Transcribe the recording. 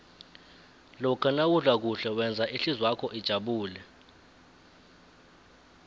lokha nawudla kuhle wenza ihlizwakho ijabule